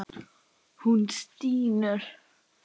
Hún stynur.